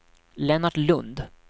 Lennart Lundh